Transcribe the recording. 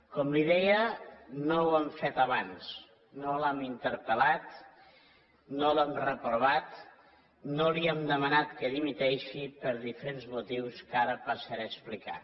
com li deia no ho hem fet abans no l’hem interpellat no l’hem reprovat no li hem demanat que dimiteixi per diferents motius que ara passaré a explicar